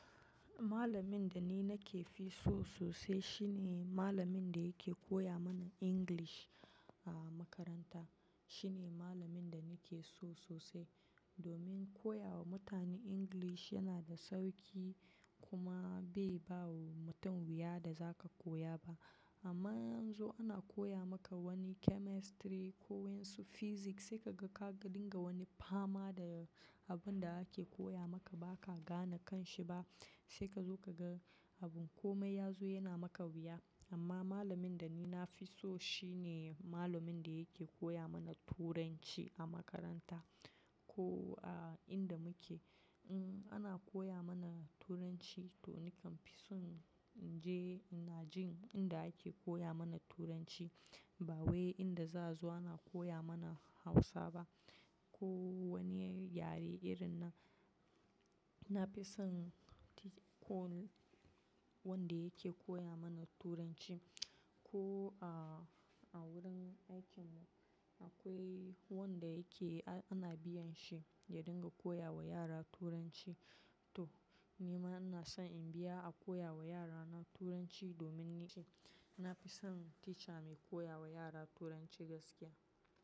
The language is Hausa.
Malamin da ni nake fi so sosai shi ne malamin da yake koya mana English, a makaranta. Shi ne malamin da nake so sosai, domin koya wa mutane English yana da sauƙi, kuma bai ba wa mutum wuya da zaka koya ba, amma in anzo ana koya maka wani chemistry, ko wa'insu physics, sai ka ga ka dinga wani fama da abin da ake koya maka baka gane kanshi ba, sai ka zo ka ga abin komai ya zo yana maka wuya. Amma malamin da ni na fi so shi ne malamin da yake koya mana Turanci a makaranta. Ko a inda muke, um, ana koya mana Turanci. To, nakan fi son in je in na jin inda ake koya mana Turanci, ba wai inda za'a zo ana koya mana Hausa ba, ko wani yare irin nan. Na fi son teacher, wanda yake koya mana Turanci, ko a, a wurin aikin mu akwai wanda yake a-ana biyan shi ya dinga koya wa yara Turanci. To, ni ma ina so in biya a koya wa yarana Turanci domin ni ce, na fi son teacher mai koya wa yara Turanci gaskiya.